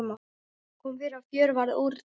Kom fyrir að fjör varð úr því.